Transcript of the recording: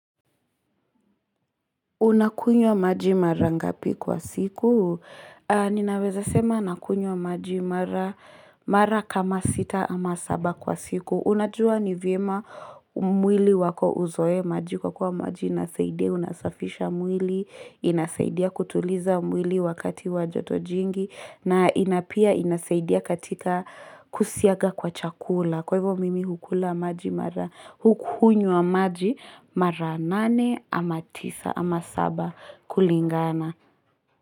Unakunywa maji mara ngapi kwa siku? Ninaweza sema nakunywa maji mara kama sita ama saba kwa siku. Unajua ni vyema mwili wako uzoe maji kwa kuwa maji inasaidia, unasafisha mwili, inasaidia kutuliza mwili wakati wa joto jingi, na inapia inasaidia katika kusiaga kwa chakula. Kwa hivo mimi hukula maji mara hukunywa maji mara nane ama tisa. Ama saba kulingana.